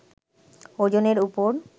ওজনের উপর